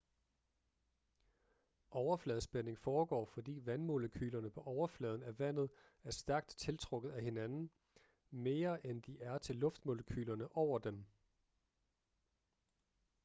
overfladespænding foregår fordi vandmolekylerne på overfladen af vandet er stærkt tiltrukket til hinanden mere end de er til luftmolekylerne over dem